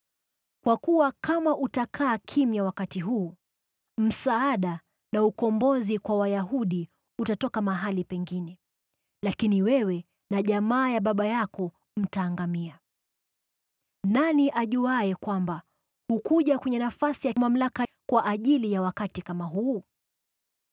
Kwa kuwa kama utakaa kimya wakati huu, msaada na ukombozi kwa Wayahudi utatoka mahali pengine, lakini wewe na jamaa ya baba yako mtaangamia. Nani ajuaye kwamba hukuja kwenye nafasi ya mamlaka kwa ajili ya wakati kama huu?”